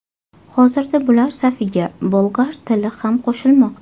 Hozirda bular safiga bolgar tili ham qo‘shilmoqda.